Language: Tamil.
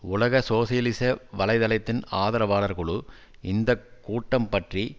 உலக சோசியலிச வலை தளத்தின் ஆதரவாளர் குழு இந்தக்கூட்டம் பற்றி